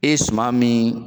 E ye suman min